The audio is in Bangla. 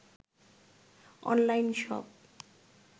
online shop